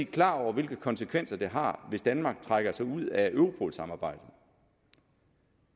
klar over hvilke konsekvenser det har hvis danmark trækker sig ud af europolsamarbejdet